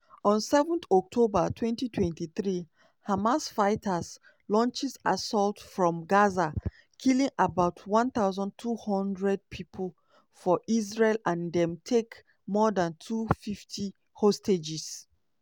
on 7 october 2023 hamas fighters launch assault from gaza killing about 1200 people for israel and dem take more dan 250 hostages.